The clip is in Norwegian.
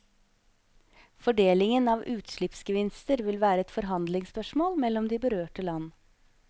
Fordelingen av utslippsgevinster vil være et forhandlingsspørsmål mellom de berørte land.